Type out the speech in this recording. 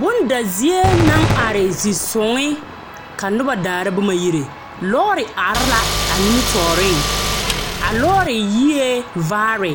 Bonda zie naŋ are zisoŋe ka noba daara boma yire. Lͻͻre are la a nimitͻͻreŋ, a lͻͻre yie vaare.